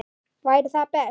Væri það best?